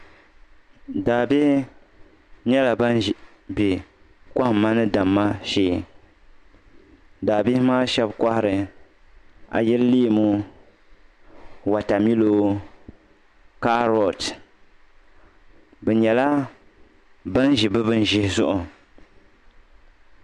Daa bihi nyɛla bini bɛ kɔhimma ni damma shɛɛ daa bihi maa shɛba kɔhiri ayil leemu wata milo karɔti bi nyɛla bani zi bi bini zihi zuɣu.